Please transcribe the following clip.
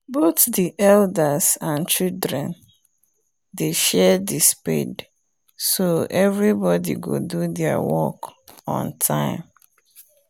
both the elders and children dey share the spade so everybody go do there work on time